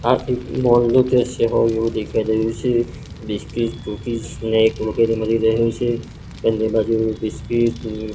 આ એક મોલ નું દ્રશ્ય હોય એવું દેખાઈ રહ્યું છે બિસ્કિટ કૂકીસ ને એક મુકેલી મલી રહ્યું છે બંને બાજુ બિસ્કિટ --